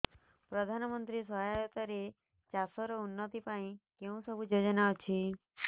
ପ୍ରଧାନମନ୍ତ୍ରୀ ସହାୟତା ରେ ଚାଷ ର ଉନ୍ନତି ପାଇଁ କେଉଁ ସବୁ ଯୋଜନା ଅଛି